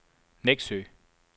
Neksø